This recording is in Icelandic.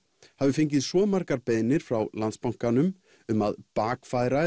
hafi fengið svo margar beiðnir frá Landsbankanum um að bakfæra